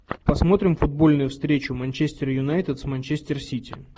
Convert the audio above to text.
посмотрим футбольную встречу манчестер юнайтед с манчестер сити